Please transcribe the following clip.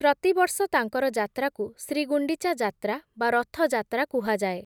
ପ୍ରତିବର୍ଷ ତାଙ୍କର ଯାତ୍ରାକୁ, ଶ୍ରୀଗୁଣ୍ଡିଚା ଯାତ୍ରା, ବା ରଥଯାତ୍ରା କୁହାଯାଏ ।